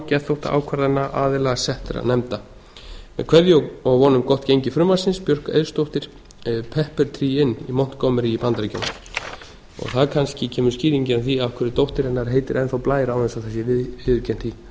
geðþóttaákvarðana aðila settra nefnda með kveðja og von um gott gengi frumvarpsins björk eiðsdóttir pepper tree inn í montgomery í bandaríkjunum þar kannski kemur skýringin á því af hverju dóttir hennar heitir enn þá blær án þess að það sé viðurkennt í